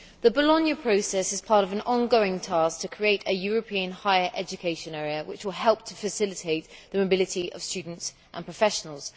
Madam President, the Bologna Process is part of an ongoing task to create a European higher education area which will help to facilitate the mobility of students and professionals.